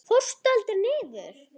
Fórstu aldrei niður?